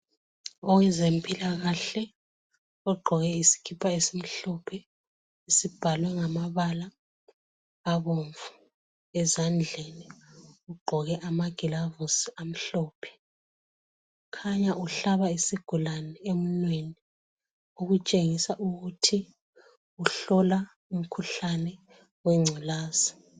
Owezempilakahle ogqoke isikhipha esimhlophe esibhalwe ngamabala abomvu ezandleni. Ugqoke amagilovisi amhlophe Uhlaba isigulane emunweni okukhanya ukuthi uhlola umkhuhlane wengculazi.